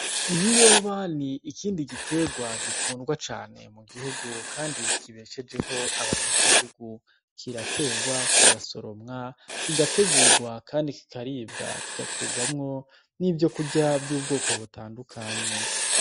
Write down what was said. Ibiyoba ni ikindi giterwa gikundwa cane mu gihugu kandi kibeshejeho abanyagihugu. Kiraterwa, kigasoromwa, kigategurwa kandi kikaribwa. Kigakurwamwo n' ivyokurya vy'ubwoko butandukanye